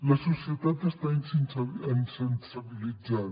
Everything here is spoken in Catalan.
la societat està insensibilitzada